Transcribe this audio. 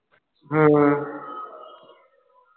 ਹੁ ਹੁ